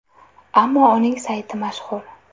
Ammo uning sayti mashhur.